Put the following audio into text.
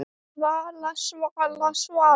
Svala, Svala, Svala!